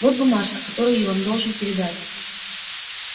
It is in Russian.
вот бумажка которую я вам должен передать